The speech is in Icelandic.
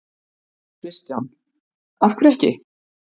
Kristján: Af hverju ekki?